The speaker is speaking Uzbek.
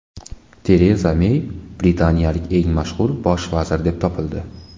Tereza Mey britaniyalik eng mashhur bosh vazir deb topildi.